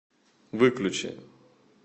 выключи